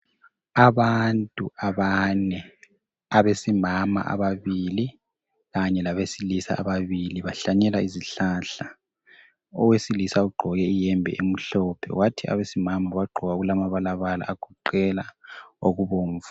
Abantu abane. Abesimama ababili. Kanye labesilisa ababili. Bahlanyela izihlahla. Owesilisa ugqoke iyembe emhlophe, kwathi abesimama, bagqoka okulamabalabala. Agoqela okubomvu.